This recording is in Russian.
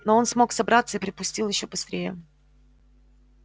но он смог собраться и припустил ещё быстрее